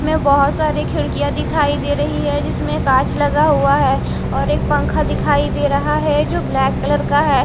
में बहुत सारी खिड़कियां दिखाई दे रही है जिसमें कांच लगा हुआ है और एक पंखा दिखाई दे रहा है जो ब्लैक कलर का है।